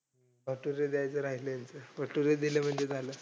भटुरे द्यायचे राहिले, भटुरे दिले म्हणजे झालं.